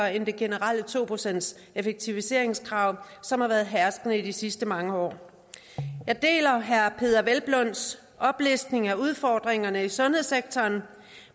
end det generelle to procentseffektiviseringskrav som har været herskende i de sidste mange år jeg deler herre peder hvelplunds oplistning af udfordringerne i sundhedssektoren